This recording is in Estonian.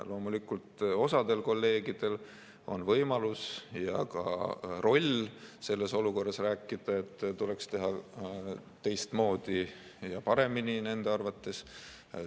Loomulikult, osal kolleegidel on võimalus ja ka roll selles olukorras rääkida, et tuleks teha teistmoodi, nii nagu on nende arvates parem.